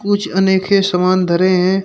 कुछ अनेखे के सामान धरे हैं।